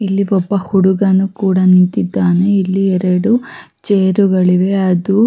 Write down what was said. ಈ ಚಿತ್ರ ನೋಡಬಹುದಾದ್ರೆ ಇಲ್ಲಿ ಕೂದಲು ಕತ್ತರಿಸುವ ಅಂಗಡಿ ಇದೆ ಇಲ್ಲಿ--